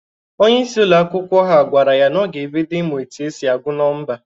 Onyeisi ụlọ akwụkwọ ha gwara ya na ọ ga-ebido ịmụ otu esi agụ nọmba.